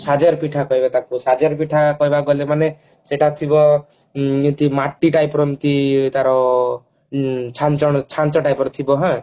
ସାଜର ପିଠା କହିବ ତାକୁ ସାଜର ପିଠା କହିବାକୁ ଗଲେ ମାନେ ସେଟା ଥିବ ଉଁ ଗୋଟେ ମାଟି type ର ଏମତି ତାର ଉଁ ଛାଞ୍ଚ ଛାଞ୍ଚ type ର ଥିବ ହାଁ